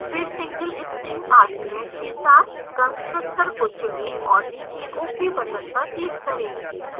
फिर single string argument के साथ constructor को चुनें और नीचे ok button पर click करें